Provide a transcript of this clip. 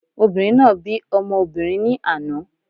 Obìnrin náà bí ọmọ obìrin ní àná